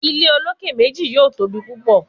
Ile oloke meji yoo tobi pupọ